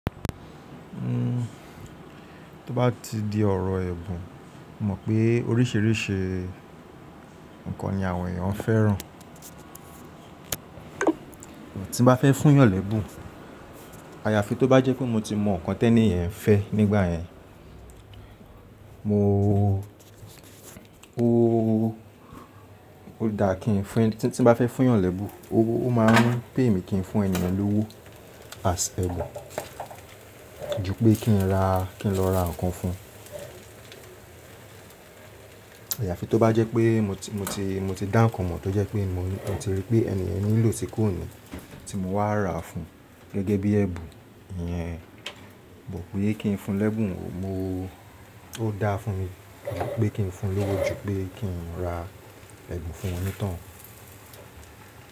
Uhm, tó bá ti di ọ̀rọ̀ ẹ̀bùn, mo mọ̀ pé oríṣìíríṣìí nǹkan ni àwọn èèyàn fẹ́ràn. Tí mo bá fẹ́ fún yàn lẹ́bù, àyàfi tó bá jẹ́ pé mo ti mọ̀ nǹkan tẹ́ni yen fẹ́ nígbà yẹn, mo ooo, ó dáa kí n fún, tí mo bá fẹ́ fún yàn lẹ́bù, ó máa ń pé èmi kí n fún ènì yen lówó as ẹ̀bùn ju pé kí n ra, kí n lọ ra nǹkan fún un. Àyàfi tó bá jẹ́ pé mo ti, mo ti dá nǹkan mọ̀ tó jẹ́ pé mo ti rí pé èèyàn nílò tí kò ní, tí mo wá ra fún un gẹ́gẹ́ bí ẹ̀bùn ìyẹn, mo wò pé kí n fún lẹ́bù, mo o ó dáa fún mi wò pé kí n fún un lówó ju pé kí n ra ẹ̀bùn fún un nítàn.